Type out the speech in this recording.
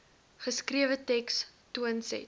geskrewe teks toonset